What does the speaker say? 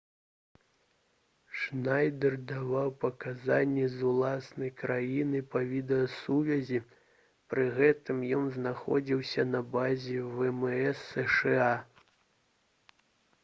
шнайдэр даваў паказанні з уласнай краіны па відэасувязі пры гэтым ён знаходзіўся на базе вмс сша